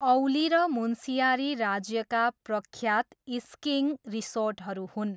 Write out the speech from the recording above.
औली र मुन्सियारी राज्यका प्रख्यात स्किइङ रिसोर्टहरू हुन्।